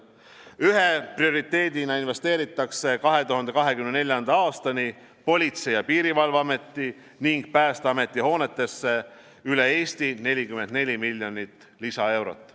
Ühe prioriteedina investeeritakse 2024. aastani Politsei- ja Piirivalveameti ning Päästeameti hoonetesse üle Eesti 44 miljonit lisaeurot.